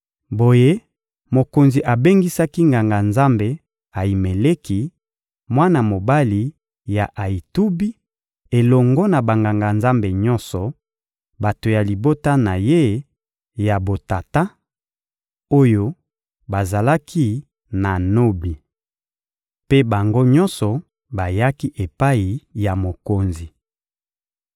Boye mokonzi abengisaki Nganga-Nzambe Ayimeleki, mwana mobali ya Ayitubi; elongo na Banganga-Nzambe nyonso, bato ya libota na ye ya botata, oyo bazalaki na Nobi. Mpe bango nyonso bayaki epai ya mokonzi.